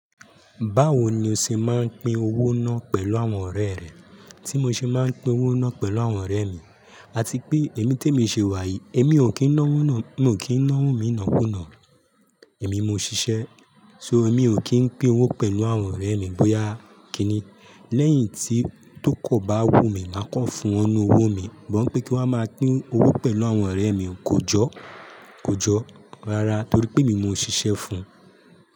Báwo ni o ṣe máa ń pín owó náà pẹ̀lú àwọn ọ̀rẹ́ rẹ? Tí mo ṣe máa ń pín owó náà pẹ̀lú àwọn ọ̀rẹ́ mi, àti pé èmi té mi ṣe wàyí, èmi ò kí ń náwó mi nàákúnàá, èmi mo ṣiṣẹ́. So èmi ò kí ń pín owó pẹ̀lú àwọn ọ̀rẹ́ mi bóyá kíni. Lẹ́yìn tí tó ko bá wùn mí, màá kàn fún wọ'nú owó mi, bọ̀ wípè kí n wá máa pín owó pẹ̀lú àwọn ọ̀rẹ́ mi, kò jọ́, kò jọ́ rárá torí pé èmi ni mo ṣiṣẹ́ fún un.